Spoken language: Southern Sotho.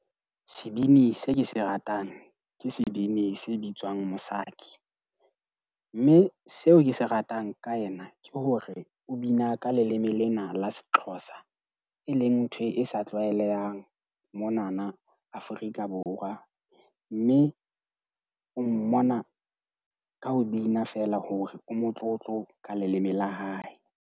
Sebini se ke se ratang ke sebini se bitswang Msaki. Mme seo ke se ratang ka ena ke hore o bina ka leleme lena la se-Xhosa. E leng ntho e sa tlwaelehang monana Afrika Borwa. Mme o mmona ka ho bina feela hore o motlotlo ka leleme la hae.